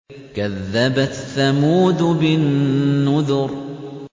كَذَّبَتْ ثَمُودُ بِالنُّذُرِ